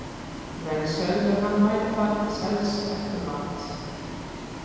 Menn sögðu að hann væri farinn til sels eftir mat.